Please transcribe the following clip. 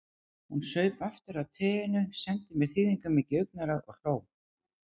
Hún saup aftur á teinu, sendi mér þýðingarmikið augnaráð og hló.